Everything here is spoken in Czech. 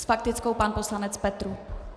S faktickou pan poslanec Petrů.